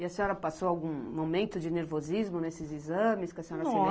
E a senhora passou algum momento de nervosismo nesses exames, que a senhora se lembra?